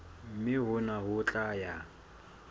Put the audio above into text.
mme hona ho tla ya